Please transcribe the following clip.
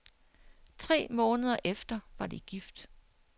Tre måneder efter var de gift.